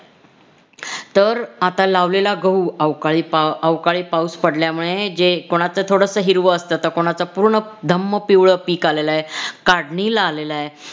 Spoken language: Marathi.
तर आता लावलेला गहू अवकाळी अवकाळी पाऊस पडल्यामुळे जे कोणाचं थोडंसं हिरवं असत तर कोणाचं हे धम्म पिवळं पीक आलेल आहे काढणीला आलेलय